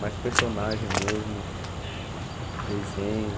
Mais personagem mesmo, desenho.